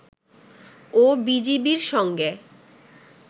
ও বিজিবির সঙ্গে